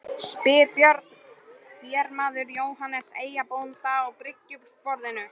spyr Björn ferjumaður Jóhannes eyjabónda á bryggjusporðinum.